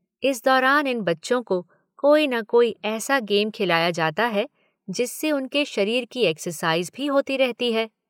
इस दौरान इन बच्चों को कोई न कोई ऐसा गेम खिलाया जाता है जिससे उनके शरीर की एक्सरसाइज़ भी होती रहती है।